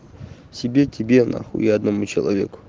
себе тебе нахуй и одному человеку